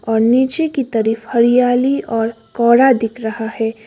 और नीचे की तरफ हरियाली और कोहरा दिख रहा है।